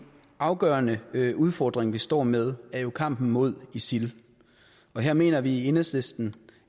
afgørende udfordring vi står med er jo kampen mod isil og her mener vi i enhedslisten